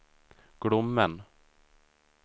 Glommen